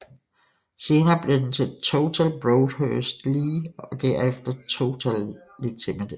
Senere blev den til Tootal Broadhurst Lee og herefter Tootal Ltd